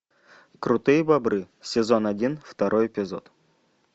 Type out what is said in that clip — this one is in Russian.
крутые бобры сезон один второй эпизод